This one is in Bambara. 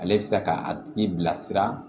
Ale bɛ se ka a tigi bilasira